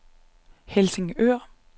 Helsingør